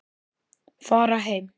Fara heim.